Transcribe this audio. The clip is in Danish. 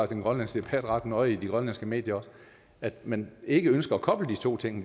den grønlandske debat ret nøje også i de grønlandske medier at man ikke ønsker at koble de to ting